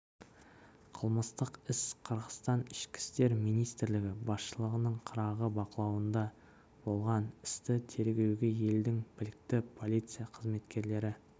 қылмыстық іс қырғызстан ішкі істер министрлігі басшылығының қырағы бақылауында болған істі тергеуге елдің білікті полиция қызметкерлері